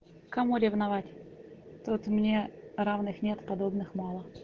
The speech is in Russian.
кому ревновать тут мне равных нет подобных мало